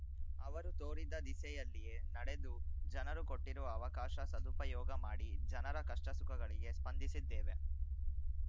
ಅವರು ತೋರಿದ ದಿಸೆಯಲ್ಲಿಯೇ ನಡೆದು ಜನರು ಕೊಟ್ಟಿರುವ ಅವಕಾಶ ಸದುಪಯೋಗ ಮಾಡಿ ಜನರ ಕಷ್ಟಸುಖಗಳಿಗೆ ಸ್ಪಂದಿಸಿದ್ದೇವೆ